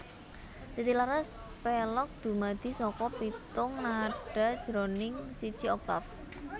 Titilaras Pélog Dumadi saka pitung nada jroning siji oktaf